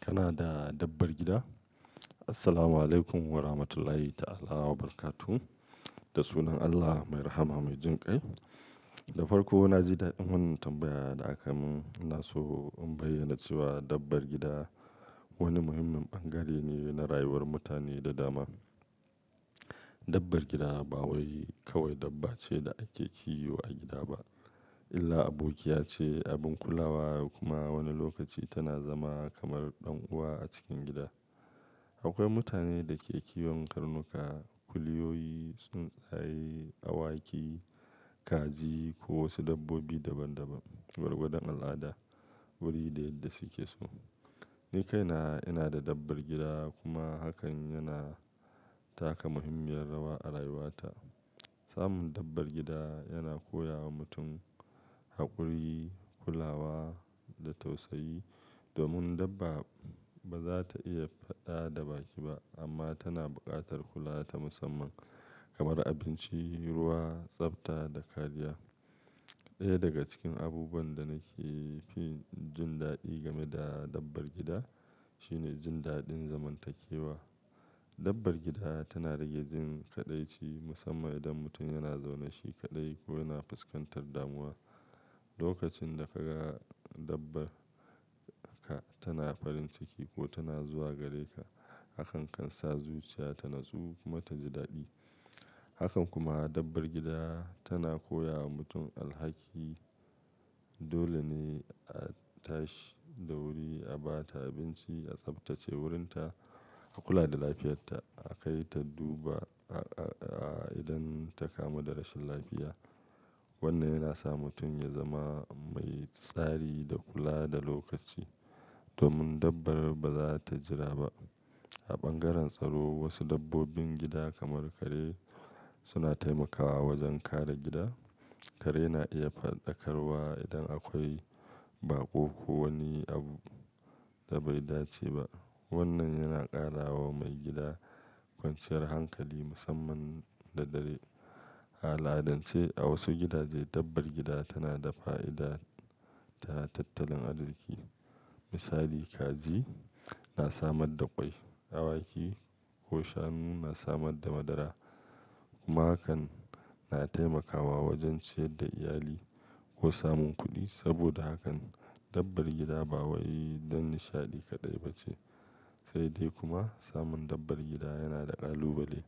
Kana da dabbar gida? Assalamualaikum Warahmatullahi Ta'ala Wabarakatuh. Da sunan Allah mai rahama mai jinƙai. Da farko, na ji daɗin wannan tambaya da aka mun. Na so in bayyana cewa dabbar gida wani muhimmin bangare ne na rayuwar mutane da dama. Dabbar gida ba wai kawai dabba ce da ake kiwo a gida ba, illa abokiya ce, abin kulawa kuma wani lokaci tana zama kamar ɗan uwa a cikin gida. Akwai mutane da ke kiwon karnuka, kuliyoyi, tsuntsaye, awaki, kaji ko wasu dabbobi daban-daban gwargwadon al'ada, wuri da yadda suke so. Ni kaina ina da dabbar gida kuma hakan yana taka muhimmiyar rawa a rayuwata. Samun dabbar gida yana koya wa mutum haƙuri, kulawa da tausayi. Domin dabba ba za ta iya faɗa da baki ba amma tana buƙatar kula ta musamman kamar abinci, ruwa, tsafta da kariya. Ɗaya daga cikin abubuwan da nake fin jin daɗi game da dabbar gida shine jin daɗin zamantakewa. Dabbar gida tana rage jin kaɗaici musamman idan mutum yana zaune shi kaɗai ko yana fuskantar damuwa. Lokacin da ka ga dabba ka tana farin ciki ko tana zuwa gare ka, hakan kan sa zuciya ta natsu kuma ta ji daɗi. Hakan kuma dabbar gida tana koya wa mutum alhaki. Dole ne a tashi da wuri, a ba ta abinci, a tsaftace wurinta, a kula da lafiyarta, a kai ta dubba i-idan ta kamu da rashin lafiya. Wannan yana sa mutum ya zama mai tsari da kula da lokaci. Domin dabba ba za ta jira ba. A ɓangaren tsaro, wasu dabbobin gida kamar kare suna taimakawa wajen kare gida. Kare na iya faɗakarwa idan akwai baƙo ko wani abu da bai dace ba. Wannan yana ƙara wa mai gida kwanciyar hankali musamman da dare. A al'adance, a wasu gidaje dabbar gida tana da fa'ida ta tattalin arziki. Misali kaji na samar da ƙwai, awaki ko shanu na samar da madara. Kuma hakan na taimakawa wajen ciyar da iyali ko samun kuɗi. Saboda hakan, dabbar gida ba wai don nishaɗi kaɗai ba ce. Sai dai kuma samun dabbar gida yana da ƙalubale.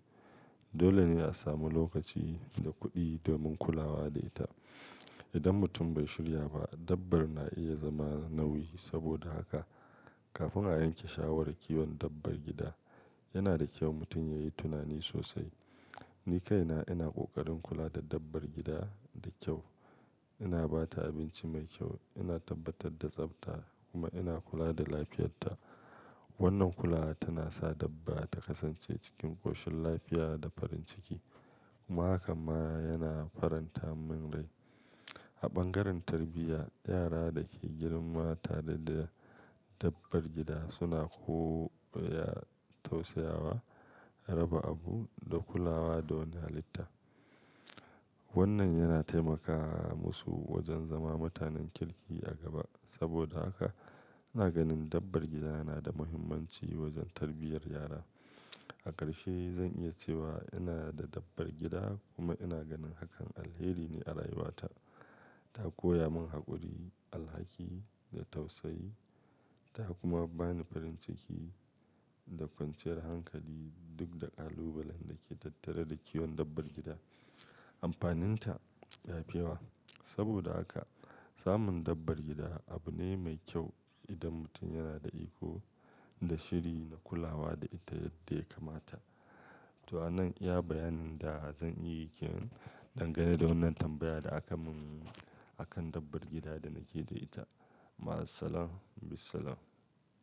Dole ne a samu lokaci da kuɗi domin kulawa da ita. Idan mutum bai shirya ba, dabba na iya zama nauyi. Saboda haka, kafin a yanke shawarar kiwon dabbar gida, yana da kyau mutum ya yi tunani sosai. Ni kaina ina ƙoƙarin kula da dabbar gida da kyau. Ina ba ta abinci mai kyau, ina tabbatar da tsafta kuma ina kula da lafiyarta. Wannan kula tana sa dabba ta kasance cikin ƙoshin lafiya da farin ciki. Kuma hakan ma yana faranta min rai. A ɓangaren tarbiyya, yara da ke girma tare da dabbar gida suna koyar tausayawa, raba abu da kulawa da wani halitta. Wannan yana taimakawa musu wajen zama mutanen kirki a gaba. Saboda haka, ina ganin dabbar gida yana da muhimmanci wajen tarbiyyar yara. A ƙarshe, zan iya cewa ina da dabbar gida kuma ina ganin hakan alheri ne a rayuwata. Ta koya mun haƙuri, alhaki da tausayi. Ta kuma ba ni farin ciki da kwanciyar hankali duk da ƙalubalen da ke tattare da kiwon dabbar gida. Amfaninta ya fi yawa. Saboda haka, samun dabbar gida abu ne mai kyau idan mutum yana da iko da shiri na kulawa da ita yadda ya kamata. To a nan ya bayanin da zan yi ke dangane da wannan tambaya da aka mun akan dabbar gida da nake da ita. Ma'as-salam, Bissalam.